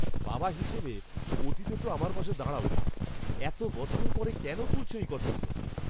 বাবা হিসেবে, অতীতে তো আমার পাশে দাঁড়াওনি। এত বছর পরে কেন তুলছো এই কথাগুলো? (ছেলে)